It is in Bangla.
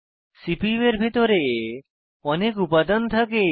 সিপিইউ এর ভিতরে অনেক উপাদান থাকে